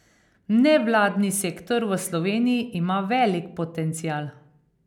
Nevladni sektor v Sloveniji ima velik potencial.